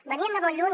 venien de molt lluny